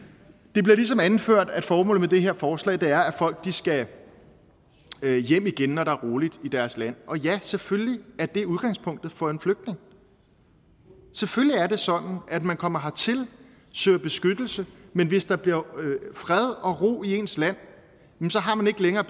det bliver ligesom anført at formålet med det her forslag er at folk skal hjem igen når der er roligt i deres land ja selvfølgelig er det udgangspunktet for en flygtning selvfølgelig er det sådan at man kommer hertil søger beskyttelse men hvis der bliver fred og ro i ens land har man ikke længere